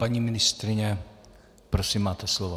Paní ministryně, prosím máte slovo.